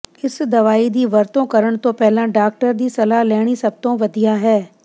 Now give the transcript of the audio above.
ਇਸ ਦਵਾਈ ਦੀ ਵਰਤੋਂ ਕਰਨ ਤੋਂ ਪਹਿਲਾਂ ਡਾਕਟਰ ਦੀ ਸਲਾਹ ਲੈਣੀ ਸਭ ਤੋਂ ਵਧੀਆ ਹੈ